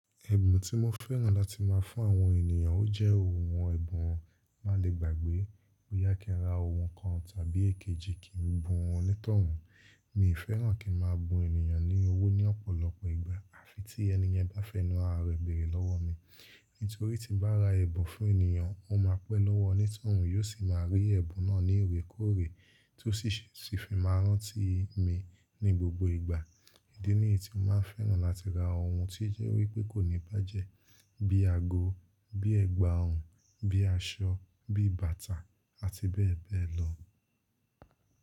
Ẹ̀bùn tí mo fẹ́ràn láti má a fún àwọn ènìyàn ó jẹ́ ohun ẹ̀bùn o má lè gbàgbé. Bo ya kí n ra ohun kan tàbí èkejì kí n bu wọn ní tọ̀run. Mí fẹ́ràn kí n má a bu ènìyàn ni owó ní ọ̀pọ̀lọpọ̀ ìgbà àfi tí ẹniyẹn bá fẹnu ààrẹ bèrè lọ́wọ́ mi. Nítorí tí bá ra ẹ̀bùn fún ènìyàn, ó ma pẹ́ lọ́wọ́ ní tọ̀run, yóò sì má a rí ẹ̀bùn náà ní ìrèkéòrè tí ó sì fi máa rántí mi ní gbogbo ìgbà. Ìdí nìyí tí mo máa ń fẹ́ràn láti ra ohun tí jẹ́ wípé kò ní bàjẹ́ bí i àgò, bí i ẹ̀gbà ọrùn, bí i aṣọ, bí i bàtà àti bẹ́ẹ̀ bẹ́ẹ̀ lọ.